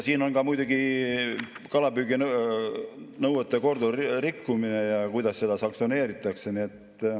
Siin on ka muidugi kalapüüginõuete korduv rikkumine ja kuidas seda sanktsioneeritakse.